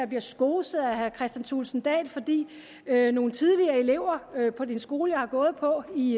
bliver skoset af herre kristian thulesen dahl fordi nogle tidligere elever på den skole jeg har gået på i